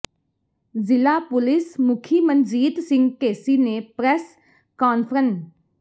ਜ਼ਿਲ੍ਹਾ ਪੁਲਿਸ ਮੁਖੀ ਮਨਜੀਤ ਸਿੰਘ ਢੇਸੀ ਨੇ ਪ੍ਰਰੈੱਸ ਕਾਨਫਰੰ